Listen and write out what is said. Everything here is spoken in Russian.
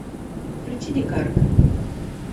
включи дикарка